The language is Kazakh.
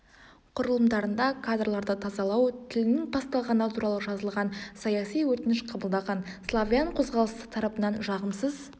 құрылымдарында кадрларды тазалау тілінің басталғаны туралы жазылған саяси өтініш қабылдаған славян қозғалысы тарапынан жағымсыз